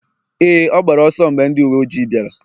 Éè, ọ gbara ọsọ mgbe ndị uwe ojii bịara